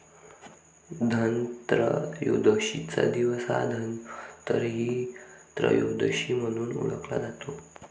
धनत्रयोदशीचा दिवस हा धन्वंतरी त्रयोदशी म्हणूनही ओळखला जातो.